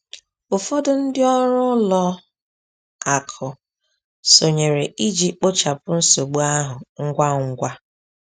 Ụfọdụ ndị ọrụ ụlọ akụ sonyere iji kpochapụ nsogbu ahụ ngwa ngwa.